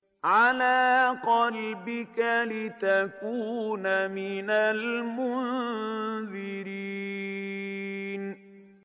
عَلَىٰ قَلْبِكَ لِتَكُونَ مِنَ الْمُنذِرِينَ